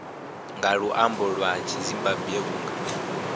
nga luambo lwa zimbambwe vhunga